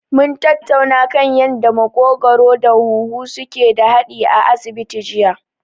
Mun tattauna kan yanda maƙogwaro da huhu suke da haɗi a asibiti jiya.